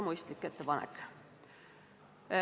Mõistlik ettepanek.